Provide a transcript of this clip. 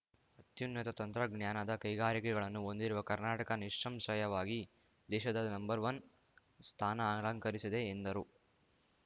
ಅತ್ಯುನ್ನತ ತಂತ್ರಜ್ಞಾನದ ಕೈಗಾರಿಕೆಗಳನ್ನು ಹೊಂದಿರುವ ಕರ್ನಾಟಕ ನಿಸ್ಸಂಶಯವಾಗಿ ದೇಶದ ನಂಬರ್‌ ವನ್ ಸ್ಥಾನ ಅಲಂಕರಿಸಿದೆ ಎಂದರು